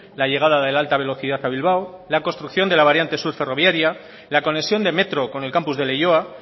la llegada de la alta velocidad a bilbao la construcción de la variante sur ferroviaria la conexión de metro con el campus de leioa